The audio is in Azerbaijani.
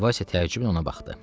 Valsya təəccüblə ona baxdı.